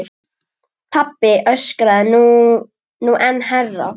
Pabbi öskraði nú enn hærra.